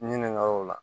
Ɲininkaliw la